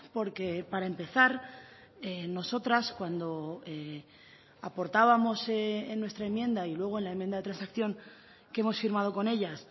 porque para empezar nosotras cuando aportábamos en nuestra enmienda y luego en la enmienda de transacción que hemos firmado con ellas